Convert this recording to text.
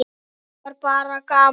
Það var bara gaman!